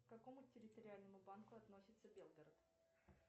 к какому территориальному банку относится белгород